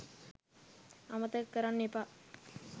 අමතක කරන්න එපා.